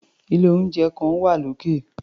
Ilé-oúnjẹ kan wà lókè.